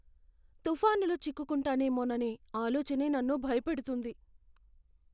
తుఫానులో చిక్కుకుంటానేమోననే ఆలోచనే నన్ను భయపెడుతుంది.